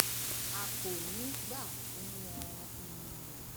a kò ní í gbà fún wọn um